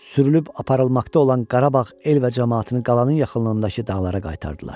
Sürülüb aparılmaqda olan Qarabağ el və camaatını qalanın yaxınlığındakı dağlara qaytardılar.